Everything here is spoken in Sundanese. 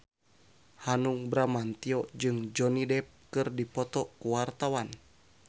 Hanung Bramantyo jeung Johnny Depp keur dipoto ku wartawan